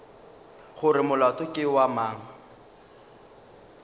gore molato ke wa mang